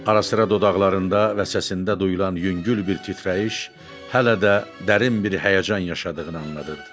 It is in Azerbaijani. Ara-sıra dodaqlarında və səsində duyulan yüngül bir titrəyiş hələ də dərin bir həyəcan yaşadığını anladırıdı.